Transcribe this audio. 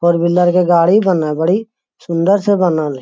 four wheeler के गाड़ी बन हई बड़ी सुन्दर से बनल हई |